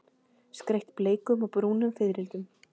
Skreytt bleikum og brúnum fiðrildum.